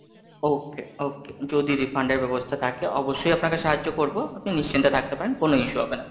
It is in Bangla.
okay, okay যদি refund এর ব্যবস্থা থাকে, অবশ্যই আপনাকে সাহায্য করবো, আপনি নিশ্চিন্তে থাকতে পারেন, কোন issue হবে না।